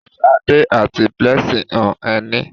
Ṣadé àti Blessing hun ẹní.